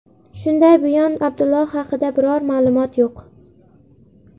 Shunday buyon Abdulloh haqida biror ma’lumot yo‘q.